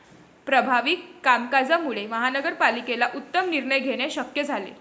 प्रभावी कामकाजामुळे महानगर पालिकेला उत्तम निर्णय घेणे शक्य झाले.